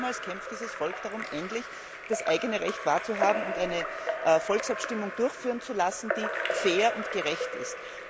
Seit damals kämpft dieses Volk darum, endlich das eigene Recht wahrnehmen und eine Volksabstimmung durchführen zu können, die fair und gerecht ist.